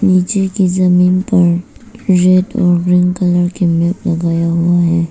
नीचे की जमीन पर रेड और ग्रीन कलर के मैट लगाया हुआ हैं।